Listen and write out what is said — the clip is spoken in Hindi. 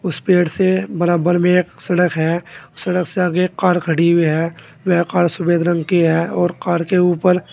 इस पेड़ से बराबर में एक सड़क है सड़क से आगे कार खड़ी हुई है वह कार सफेद रंग की है और कार के ऊपर--